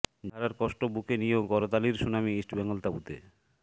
জিতে হারার কষ্ট বুকে নিয়েও করতালির সুনামি ইস্টবেঙ্গল তাঁবুতে